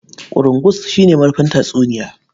Ƙurungus shi ne marufin tatsuniya.